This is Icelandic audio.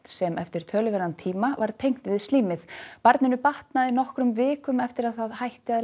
sem eftir töluverðan tíma var tengt við slím því batnaði batnaði nokkrum vikum eftir að það hætti að